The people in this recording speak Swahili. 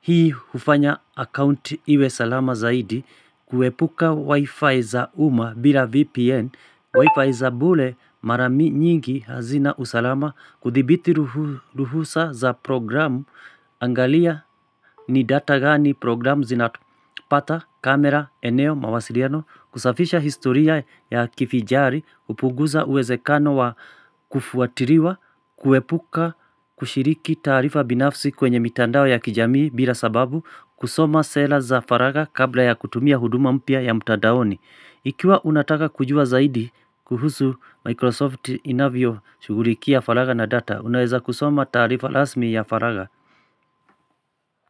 hii hufanya account iwe salama zaidi, kuepuka wifi za umma bila VPN, wifi za bure mara nyingi hazina usalama, kuthibiti ruhusa za programu, angalia ni data gani programu zinapata kamera eneo mawasiliano kusafisha historia ya kifijari hupunguza uwezekano wa kufuatiliwa kuepuka kushiriki taarifa binafsi kwenye mitandao ya kijamii bila sababu kusoma sera za faragha kabla ya kutumia huduma mpya ya mtadaoni. Ikiwa unataka kujua zaidi kuhusu Microsoft inavyo shughulikia faragha na data unaweza kusoma taarifa rasmi ya faragha.